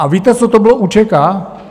A víte, co to bylo UÇK?